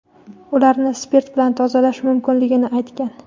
ularni spirt bilan tozalash mumkinligini aytgan.